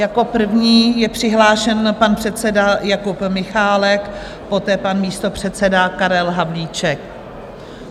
Jako první je přihlášen pan předseda Jakub Michálek, poté pan místopředseda Karel Havlíček.